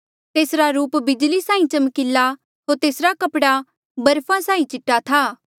तेसरा रूप बिजली साहीं चमकीला होर तेसरा कपड़ा बर्फा साहीं चीटा था